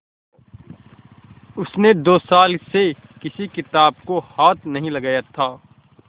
उसने दो साल से किसी किताब को हाथ नहीं लगाया था